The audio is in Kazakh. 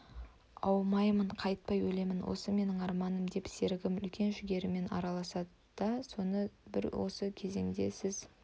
аумаймын қайтпай өлемін осы менің арманым мен сергім үлкен жігермен араласады соны дәл бір осы кезенде сіз